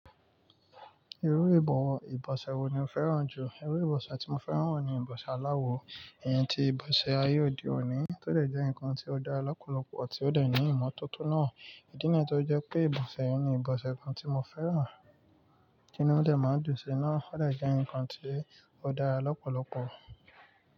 Irú ìbọ̀wọ̀ ìbọ̀sẹ̀ wo ni o fẹ́ràn jù? Irú ìbọ̀sẹ̀ tí mo fẹ́ràn ni ìbọ̀sẹ̀ aláwọ. Ìyẹn ti ìbọ̀sẹ̀ ayé òde òní, tó dẹ̀ jẹ́ ǹkan tí ó dára lọ́pọ̀lọpọ̀ àti ó lè ní ìmọ́tótó náà. Ìdí niyẹn tó jẹ́ pé ìbọ̀sẹ̀ yẹn ni ìbọ̀sẹ̀ kan tí mo fẹ́ràn. Kí ni ó dè máa dùn sí i náà? Ó lè jẹ́ ǹkan tí ó dára lọ́pọ̀lọpọ̀.